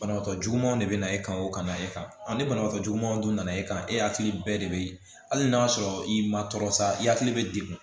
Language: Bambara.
Banabaatɔ jugumanw de bɛ na e kan o kana e kan ani banabagatɔ jugumanw dun na e kan e hakili bɛɛ de be hali n'a sɔrɔ i ma tɔɔrɔ sa i hakili bɛ degun